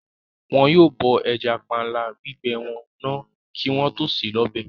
Wọn yóò bọ ẹja panla gbígbẹ wọn náà kí wọ́n tó sè é lọ́bẹ̀